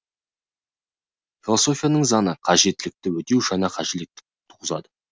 философияның заңы қажеттілікті өтеу жаңа қажеттілікті туғызады